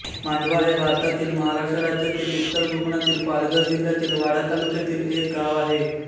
मांडवा हे भारतातील महाराष्ट्र राज्यातील उत्तर कोकणातील पालघर जिल्ह्यातील वाडा तालुक्यातील एक गाव आहे